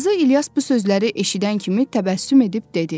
Qazi İlyas bu sözləri eşidən kimi təbəssüm edib dedi.